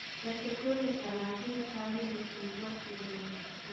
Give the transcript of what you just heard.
reke tuone kana thirikari nĩ ĩkũigua kĩrĩro giitũ